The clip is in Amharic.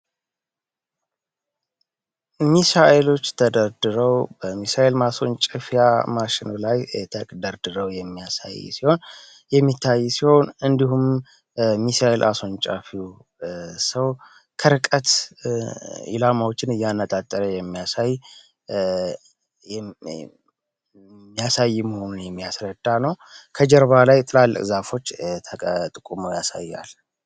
ሚሳኤሎች ተደርድረው በሚሳኤል ማሶንጨፊያ ማሽን ላይ ተደርድረው የሚያሳይ ሲሆን የሚታይ ሲሆን እንዲሁም ሚሳኤል አስንጫፊው ሰው ከርቀት ይላማዎችን እያነጣጠረ ሚያሳይ መሆኑን የሚያስረዳ ነው። ከጀርባ ላይ ጥላልቅ ዛፎች ተቀጥቁመው ያሳያል።